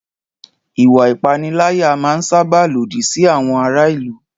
Ìwà ìpániláyà máa n sáábà lòdì sí àwọn ará ìlú